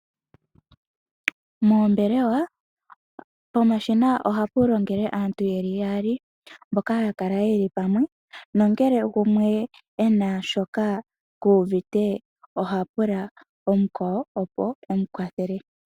Moombelewa, pomashina ohapu longele aantu yaali mboka haya kala yeli pamwe nongele gumwe e na shoka ku uvite ohapula mukwawo opo e mu kwathele.